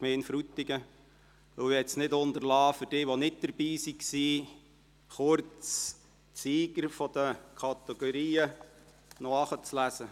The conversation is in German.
Ich möchte es nicht unterlassen, für jene, die nicht dabei waren, kurz die Sieger pro Kategorie zu verlesen.